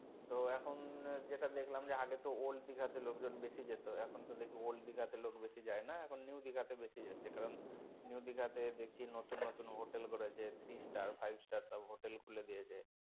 তো এখন যেটা দেখলাম যে আগে তো old দিঘা তে লোকজন বেশি যেত এখন তো দেখি old দিঘা তে লোক বেশি যায়না এখন new দিঘা তে বেশি যাচ্ছে কারন new দিঘা তে দেখছি নতুন নতুন hotel করেছে three star five star সব hotel খুলে দিয়েছে।